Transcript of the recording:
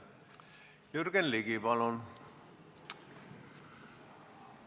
Jürgen Ligi, palun!